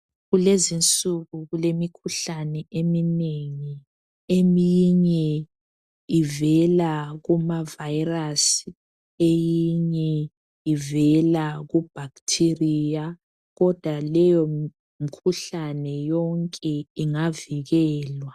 Kulezinsuku kulemikhuhlane eminengi eminye ivela kuma virus eyinye ivela kubacteri kodwa leyo mikhuhlane yonke ingavikelwa.